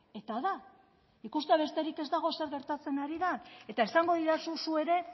eta da ikustea besterik ez dago zer gertatzen ari den eta esango didazu zu ere